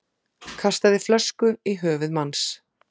Kastaði flösku í höfuð manns